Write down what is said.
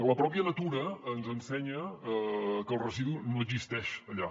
la pròpia natura ens ensenya que el residu no existeix allà